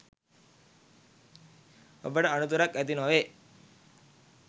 ඔබට අනතුරක් ඇති නොවේ.